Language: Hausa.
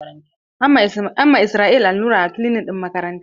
An ma Israel allura a kilinik ɗin makaranta.